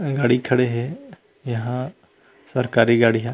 गाड़ी खड़े हे ये हा सरकारी गाड़ी ह--